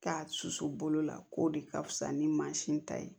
K'a susu bolo la k'o de ka fisa ni mansin ta ye